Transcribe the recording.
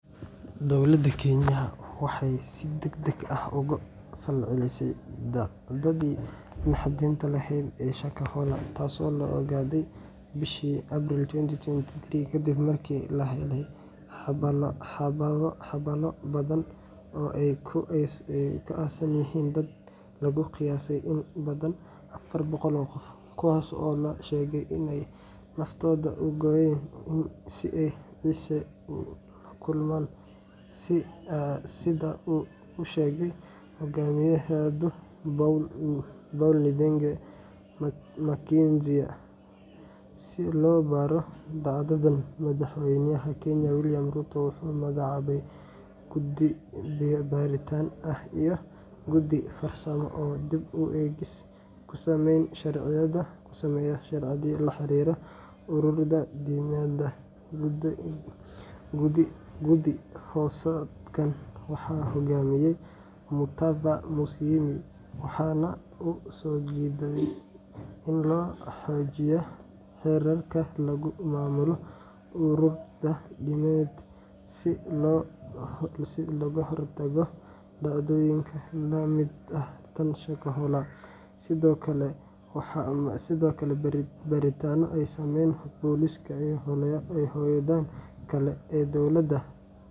Dowladda Kenya waxay si degdeg ah uga falcelisay dhacdadii naxdinta lahayd ee Shakahola, taasoo la ogaaday bishii April 2023, kadib markii la helay xabaalo badan oo ay ku aasan yihiin dad lagu qiyaasay in ka badan afar boqol oo qof, kuwaasoo la sheegay in ay naftooda u gooyeen si ay "Ciise u la kulmaan," sida uu u sheegay hogaamiyahooda Paul Nthenge Mackenzie. Si loo baaro dhacdadan, Madaxweynaha Kenya William Ruto wuxuu magacaabay guddi baaritaan ah iyo guddi farsamo oo dib u eegis ku sameeya sharciyada la xiriira ururada diimeed. Guddi-hoosaadkan waxaa hogaaminayay Mutava Musyimi, waxaana uu soo jeediyay in la xoojiyo xeerarka lagu maamulo ururada diimeed si looga hortago dhacdooyin la mid ah tan Shakahola. Sidoo kale, baaritaano ay sameeyeen booliska iyo hay'adaha kale ee dowladda.